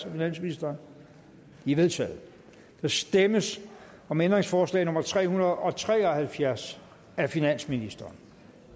af finansministeren de er vedtaget der stemmes om ændringsforslag nummer tre hundrede og tre og halvfjerds af finansministeren